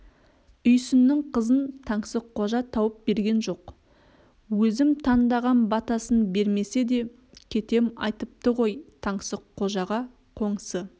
үйсіннің қызын таңсыққожа тауып берген жоқ өзім тандағам батасын бермесе де кетем айтыпты ғой таңсыққожаға қоңсы